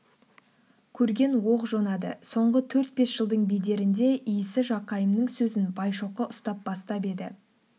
көрген оқ жонады соңғы төрт-бес жылдың бедерінде иісі жақайымның сөзін байшоқы ұстай бастап еді